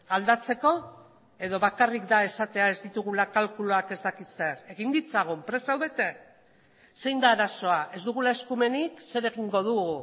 aldatzeko edo bakarrik da esatea ez ditugula kalkuluak ez dakit zer egin ditzagun prest zaudete zein da arazoa ez dugula eskumenik zer egingo dugu